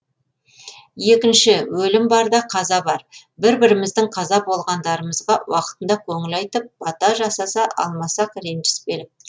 екінші өлім бар да қаза бар бір біріміздің қаза болғандарымызға уақытында көңіл айтып бата жасаса алмасақ ренжіспелік